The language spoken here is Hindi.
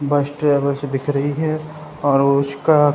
बस ट्रेवल्स दिख रही है और उसका --